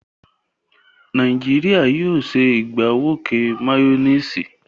Nàìjíríà yóò ṣe ìgbàwọké máyónísì.